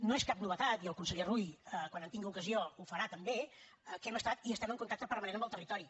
no és cap novetat i el conseller rull quan en tingui ocasió ho farà també que hem estat i estem en contacte permanentment amb el territori